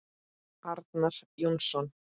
Arnar Jónsson